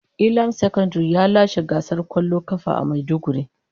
Elam secondary ya lashe gasar kwallon kafa a maiduguri.